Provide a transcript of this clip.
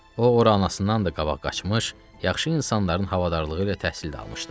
O ora anasından da qabaq qaçmış, yaxşı insanların havadarlığı ilə təhsil də almışdı.